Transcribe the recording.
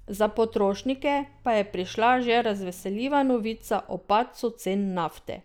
Za potrošnike pa je prišla še razveseljiva novica o padcu cen nafte.